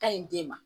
Ka ɲi den ma